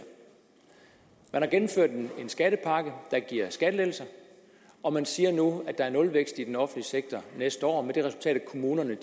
man har gennemført en skattepakke der giver skattelettelser og man siger nu at der er nulvækst i den offentlige sektor næste år med det resultat at kommunerne